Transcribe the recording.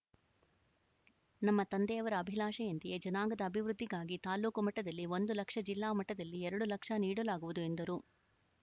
ನಮ್ಮ ತಂದೆಯವರ ಅಭಿಲಾಷೆಯಂತೆಯೇ ಜನಾಂಗದ ಅಭಿವೃದ್ಧಿಗಾಗಿ ತಾಲೂಕು ಮಟ್ಟದಲ್ಲಿ ಒಂದು ಲಕ್ಷ ಜಿಲ್ಲಾ ಮಟ್ಟದಲ್ಲಿ ಎರಡು ಲಕ್ಷ ನೀಡಲಾಗುವುದು ಎಂದರು